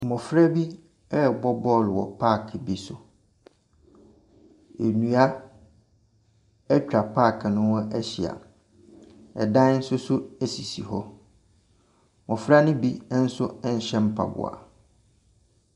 Mmɔfra bi rebɔ bɔɔlo wɔ paake bi so. Nnua atwa paake no ho ahyia. ℇdan nso so sisi hɔ. mmɔfra no bi nso nhyɛ mpaboa.